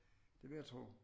Det vil jeg tro